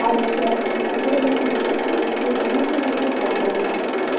алло здравствуйте сабурова семьнадцать к нижнему шлагбауму